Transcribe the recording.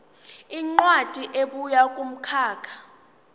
incwadi ebuya kumkhakha